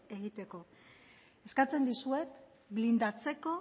egiteko eskatzen dizuet blindatzeko